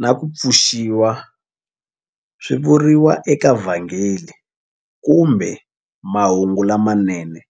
na ku pfuxiwa swi vuriwa eVhangeli kumbe Mahungu lamanene.